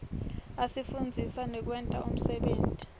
asifundzisa ngekwenta umsebenti